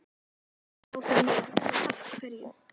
Þá fer maður að hugsa Af hverju?